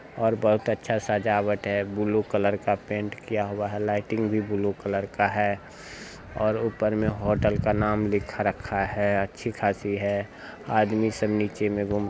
और बहुत अच्छा सजावट है। ब्लू कलर का पेंट किया हुआ है। लाइटिंग भी ब्लू कलर का है और ऊपर में होटल का नाम लिखा रखा है। अच्छी खासी है। आदमी सब नीचे में घूम --